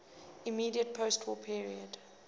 immediate postwar period